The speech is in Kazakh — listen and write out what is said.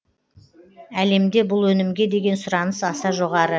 әлемде бұл өнімге деген сұраныс аса жоғары